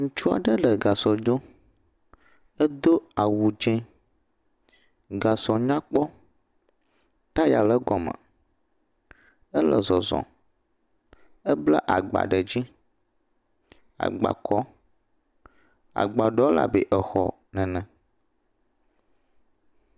Ŋutsu aɖe le gasɔ dom. Edo awu dze. Gasɔ nyakpɔ, taya le egɔme. Ele zɔzɔm, ebla agba ɖe dzi. Agba kɔ. Agba ɖewo le abe exɔ ene